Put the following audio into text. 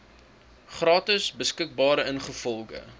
gratis beskikbaar ingevolge